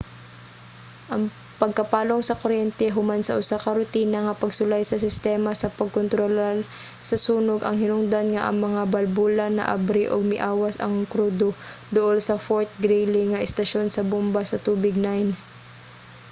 ang pagkapalong sa kuryente human sa usa ka rutina nga pagsulay sa sistema sa pagkontrolar sa sunog ang hinungdan nga ang mga balbula naabri ug miawas ang krudo duol sa fort greely nga estasyon sa bomba sa tubig 9